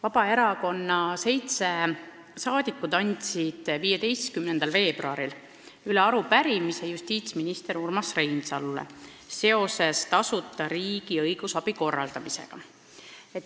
Vabaerakonna seitse saadikut andsid 15. veebruaril üle arupärimise justiitsminister Urmas Reinsalule tasuta riigi õigusabi korraldamise kohta.